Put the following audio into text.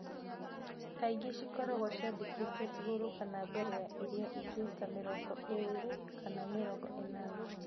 Kaingĩ cikoragwo ciandĩkĩtwe igurũ kana mbere ya iria ingĩ ta igana rĩa mĩrongo ĩrĩ kwa mĩrongo ĩnana.